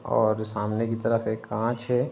और सामने की तरफ एक कांच है।